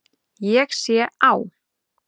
Ég sé á